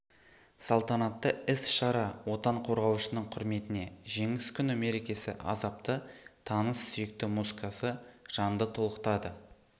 салтанатты іс-шара отан қорғаушының құрметіне жеңіс күні мерекесі азапты таныс сүйікті музыкасы жанды толқытады